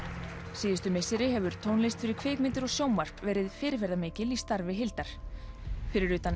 síðustu misseri hefur tónlist fyrir kvikmyndir og sjónvarp verið fyrirferðarmikil í starfi Hildar fyrir utan